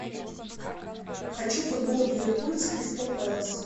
хочу футбол ливерпуль с кристал пэлас